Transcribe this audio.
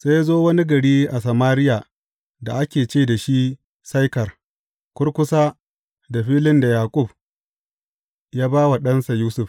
Sai ya zo wani gari a Samariya da ake ce da shi Saikar, kurkusa da filin da Yaƙub ya ba wa ɗansa Yusuf.